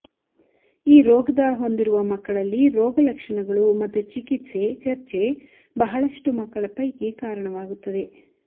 ಈ ರೋಗದ ಹೊಂದಿರುವ ಮಕ್ಕಳಲ್ಲಿ ರೋಗಲಕ್ಷಣಗಳು ಮತ್ತು ಚಿಕಿತ್ಸೆ ಚರ್ಚೆ ಬಹಳಷ್ಟು ಮಕ್ಕಳ ಪೈಕಿ ಕಾರಣವಾಗುತ್ತದೆ